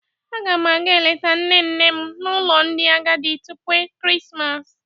Ágà m àgá eleta nne nne m n'ụlọ ndị agadi tupu ekeresimesi